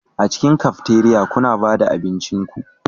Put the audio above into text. A cikin cafeteria kuna ba da abincin ku